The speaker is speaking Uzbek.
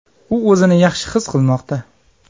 U o‘zini yaxshi his qilmoqda.